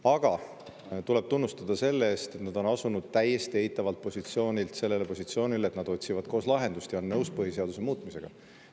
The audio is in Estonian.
Aga neid tuleb tunnustada selle eest, et nad on asunud täiesti eitavalt positsioonilt sellele positsioonile, et nad otsivad koos lahendust ja on nõus põhiseaduse muutmisega.